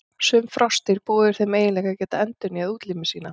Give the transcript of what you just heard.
Sum froskdýr búa yfir þeim eiginleika að geta endurnýjað útlimi sína.